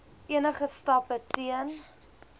enige stappe teen